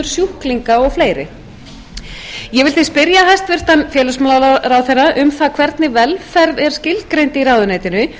sjúklinga og fleiri ég vil því spyrja hæstvirtan félagsmálaráðherra um það hvernig velferð er skilgreind í ráðuneytinu því að